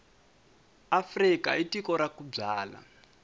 afrika i tiko ra ku byala